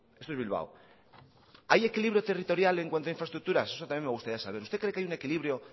esto es bilbao hay equilibrio territorial en cuanto a infraestructuras eso también me gustaría saber usted cree que hay un equilibrio